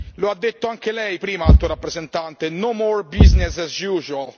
Lo ha detto anche lei prima, Alto rappresentante, no more business as usual.